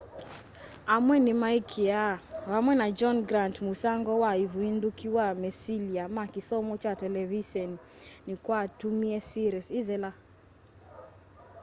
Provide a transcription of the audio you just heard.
amwe nimaikiaa vamwe na john grant musango na uvinduku wa mesilya ma kisomo kya televiseni nikwatumie series ithela